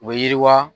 U bɛ yiriwa